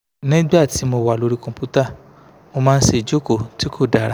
nigbati mo wa lori computer mo maa n se ijoko ti ko dara